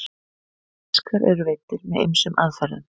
fiskar eru veiddir með ýmsum aðferðum